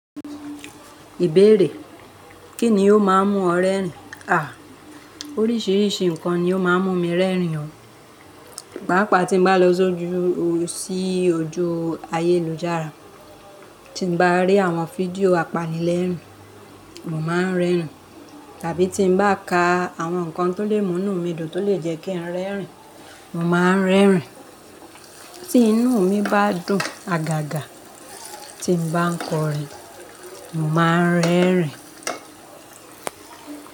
Ìbéèrè: Kíni ó ma ń mú ọ rẹ́rìn? À, oríṣiríṣi nǹkan ni ó ma ń mú mi rẹ́rìn o. Pàápàá tí mo bá lọ sójúú sí ojú ayélujára tí n bá rí àwọn fídíò apanilẹ́rìn, mo má ń rẹ́rìn. Tàbí tí mo bá ka àwọn nǹkan tó lè múnú mi dùn tó lè jẹ́ kí n rẹ́rìn, mo má ń rẹ́rìn. Tí inú mi bá dùn, àgàgà, tí mo bá ń kọrin, mo má ń rẹ́rìn.